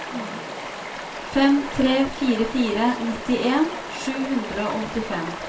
fem tre fire fire nittien sju hundre og åttifem